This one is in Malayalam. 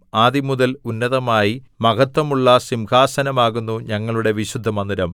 ആദിമുതൽ ഉന്നതമായി മഹത്വമുള്ള സിംഹാസനമാകുന്നു ഞങ്ങളുടെ വിശുദ്ധമന്ദിരം